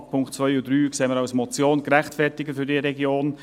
Die Punkte 2 und 3 sehen wir als Motion gerechtfertigt für diese Region.